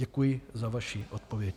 Děkuji za vaši odpověď.